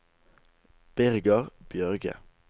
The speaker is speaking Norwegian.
Birger Bjørge